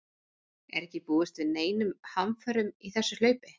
Er ekki búist við neinum hamförum í þessu hlaupi?